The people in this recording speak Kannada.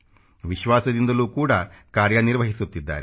ವಿಸ್ವಾಸದಿಂದಲೂ ಕೂಡ ಕಾರ್ಯ ನಿರ್ವಹಿಸುತ್ತಿದ್ದಾರೆ